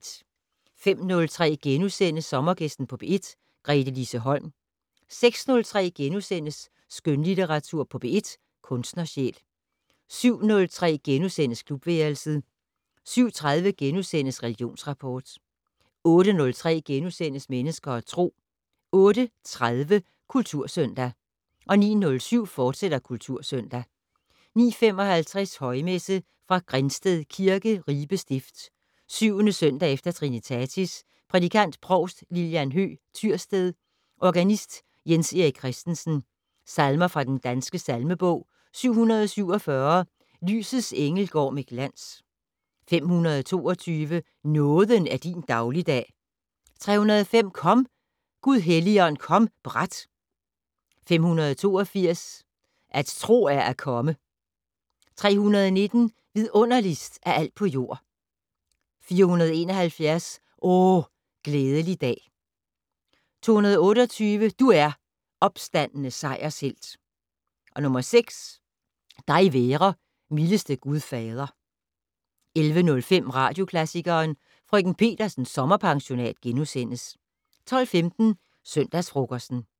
05:03: Sommergæsten på P1: Gretelise Holm * 06:03: Skønlitteratur på P1: Kunstnersjæl * 07:03: Klubværelset * 07:30: Religionsrapport * 08:03: Mennesker og Tro * 08:30: Kultursøndag 09:07: Kultursøndag, fortsat 09:55: Højmesse - Fra Grinsted Kirke, Ribe stift. 7. søndag efter trinitatis. Prædikant: Provst Lilian Høegh Tyrsted. Organist: Jens Erik Kristensen. Salmer fra den danske salmebog: 747 "Lysets engel går med glans". 522 "Nåden er din dagligdag". 305 "Kom, Gud Helligånd, kom brat". 582 "At tro er at komme". 319 "Vidunderligst af alt på jord". 471 "O, glædelig dag". 228 "Du er, opstandne sejershelt". 6 "Dig være, mildeste Gud Fader". 11:05: Radioklassikeren: Frk. Petersens sommerpensionat * 12:15: Søndagsfrokosten